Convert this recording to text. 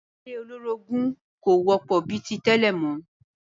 Ìdílé olórogún kò wọ́pọ̀ bi ti tẹ́lẹ̀ mọ́